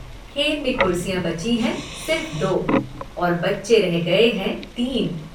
खेल में कुर्सियां बची हैं सिर्फ दो और बच्चे रह गये हैं तीन।